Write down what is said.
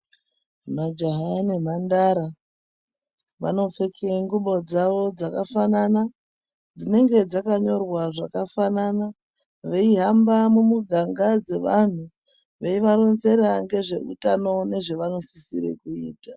Majaha nemhandara vanopfeke ngubo dzavo dzakafanana, dzinenge dzakanyorwa zvakafanana, veihamba mumiganga dzavantu veivarunzira ngezvehutano ngezvavanosisire kuita.